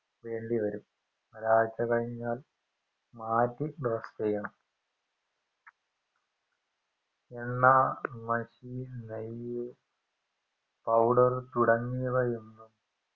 വേണ്ടിവരും ഒരാഴ്ച കഴിഞ്ഞാൽ മാറ്റി dress ചെയ്യണം എണ്ണ മഷി നെയ് പൗഡർ തുടങ്ങിയവയൊന്നും